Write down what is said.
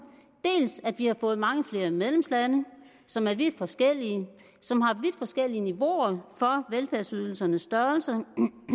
at vi både har fået mange flere medlemslande som er vidt forskellige som har vidt forskellige niveauer for velfærdsydelsernes størrelser